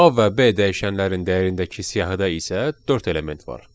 A və B dəyişənlərin dəyərindəki siyahıda isə dörd element var.